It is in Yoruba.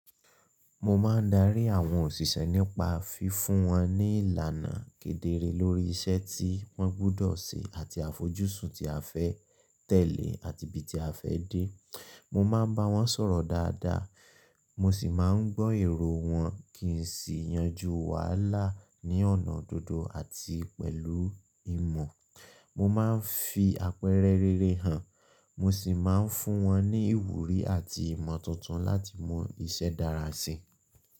Mo máa ń darí àwọn òṣìṣẹ́ nípa fi fún wọn ní ìlànà kedere lórí iṣẹ́ tí wọ́n gbudọ̀ ṣe àti àfojúsùn tí a fẹ́ tẹ̀lé àti ibi tí a fẹ́ dé. Mo máa ń bá wọn sọ̀rọ̀ dáadáa, mo sì máa ń gbọ́ èrò wọn kí n sì yanjú wàhálà ní ọ̀nà dodo àti pẹ̀lú ìmọ̀. Mo máa ń fi àpẹẹrẹ rere hàn, mo sì máa ń fún wọn ní ìwúrí àti ìmọ̀ tuntun láti mọ iṣẹ́ dára sí i.